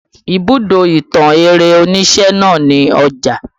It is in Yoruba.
Ibùdó ìtàn eré onise náà ni Ọjà